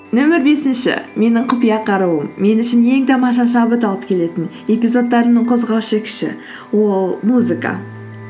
нөмір бесінші менің құпия қаруым мен үшін ең тамаша шабыт алып келетін эпизодтарымның қозғаушы күші ол музыка